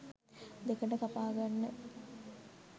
දෙකට කපා ගන්න